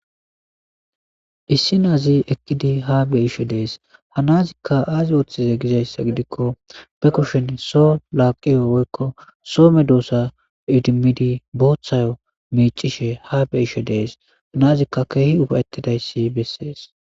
issi naazi ekkidi ha beishe dees hanazikka aazi woththize gizayssa gidikko be kushin so laaqiyo woykko soome doosa idimidi boothayo mecishe ha be ishe dees hanazikka keehi ufawettidayssi bessees